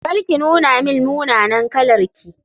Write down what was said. Kar ki nuna min munanan kalarki.